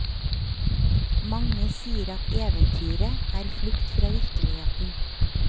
Mange sier at eventyret er flukt fra virkeligheten.